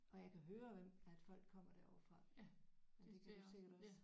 Og jeg kan høre hvem at folk kommer derovre fra. Det kan du sikkert også